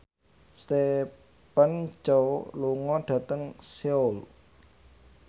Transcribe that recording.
Stephen Chow lunga dhateng Seoul